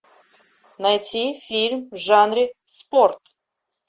найти фильм в жанре спорт